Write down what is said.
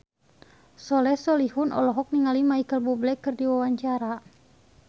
Soleh Solihun olohok ningali Micheal Bubble keur diwawancara